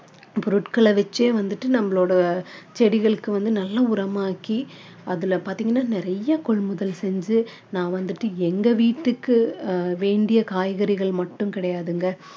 பொருட்களை வச்சே வந்துட்டு நம்மளோட செடிகளுக்கு வந்து நல்ல உரமாக்கி அதுல பார்த்தீங்கன்னா நிறைய கொள்முதல் செஞ்சு நான் வந்துட்டு எங்க வீட்டுக்கு வேண்டிய காய்கறிகள் மட்டும் கிடையாதுங்க